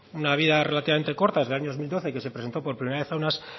una vida relativamente corta desde el año dos mil doce que se presentó por primera vez a unas